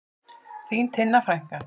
Þín Tinna frænka.